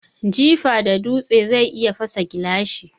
Jifa da dutse zai iya fasa gilashi.